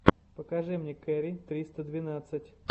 покажи мне кэрри триста двенадцать